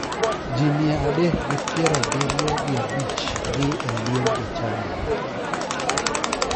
Ji mia adek gi piero abiriyo gi a bich dhie e liend ja chadino.